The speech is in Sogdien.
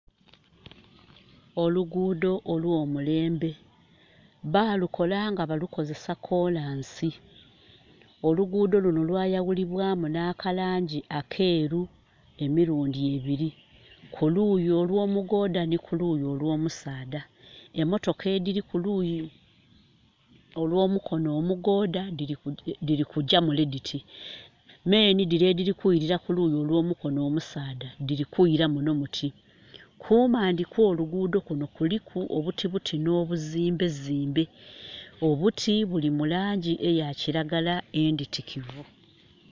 Olugudho olw'omulembe. Balukola nga balukozesa kolansi. Olugudho lwayawulibwamu na ka langi akeru emirundi ebiri, ku luuyi olwo mugooda ni ku luuyi olwo musaadha. Emotoka ediri kuluyi olw'omukono mugooda diri kugya mule diti. Me nhi dire ediri kwirira kuluyi olwo mukono omusaadha diri kwira munho diti. Kumandi kwo lugudho lunho kuliku obutibuti no buzimbezimbe. Obuti buli mulangi eya kiragala enditikivu